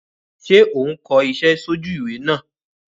Sé o n ko isé sójú ìwé náà